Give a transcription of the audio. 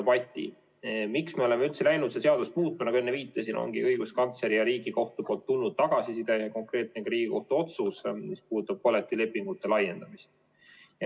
Põhjus, miks me oleme üldse hakanud seda seadust muutma, on, nagu enne viitasin, õiguskantsleri ja Riigikohtu poolt tulnud tagasiside ning konkreetne Riigikohtu otsus, mis puudutab kollektiivlepingute laiendamist.